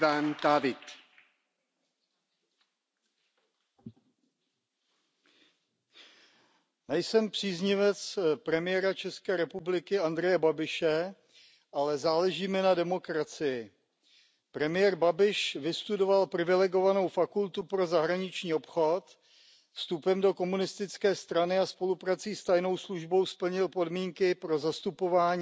Pane předsedající, nejsem příznivec premiéra České republiky Andreje Babiše, ale záleží mi na demokracii. Premiér Babiš vystudoval privilegovanou fakultu pro zahraniční obchod, vstupem do komunistické strany a spoluprací s tajnou službou splnil podmínky pro zastupování